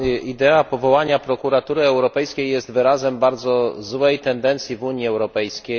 Idea powołania Prokuratury Europejskiej jest wyrazem bardzo złej tendencji w Unii Europejskiej.